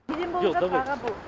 неден болып жатыр аға бұл